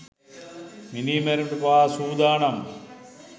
මිනී මැරිමට පවා සූදානම්.